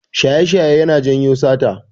Shaye-shaye yana janyo sata.